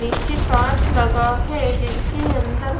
नीचे कांच लगा है जिसके अंदर--